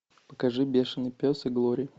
покажи бешенный пес и глори